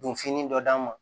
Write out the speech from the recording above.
Don fini dɔ d'an ma